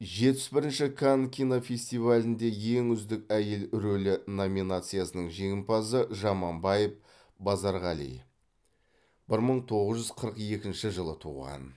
жетпіс бірінші канн кинофестивалінде ең үздік әйел рөлі номинациясының жеңімпазы жаманбаев базарғали бір мың тоғыз жүз қырық екінші жылы туған